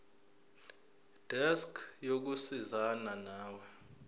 desk yokusizana nawe